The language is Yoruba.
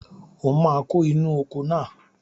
O máa kó inú oko náà